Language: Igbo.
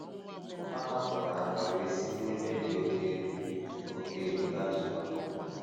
Mgbe ahụ, ha hapụrụ aka wee si n’ebe dị oké elu oké elu datuwa.